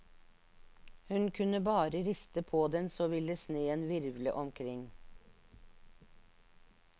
Hun kunne bare riste på den så ville sneen virvle omkring.